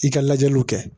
I ka lajɛliw kɛ